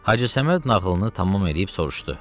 Hacı Səməd nağılını tamam eləyib soruşdu: